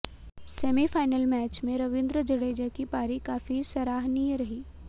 semifinal match में रविंद्र जडेजा की पारी काफी सराहनीय रही